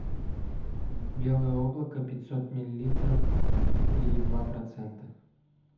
белое облако пятьсот миллилитров три и два процента